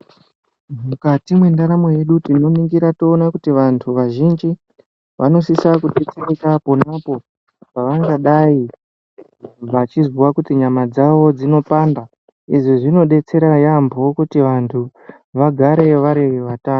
Mukati mendaramo yedu tononingira toona kuti vanthu vazhinji vanosisa kuzvi.... pona apo pavangadai vachizwa kuti nyama dzavo dzinopanda. Izvi zvinodetsera yaampho kuti vanthu vagare vari vatano.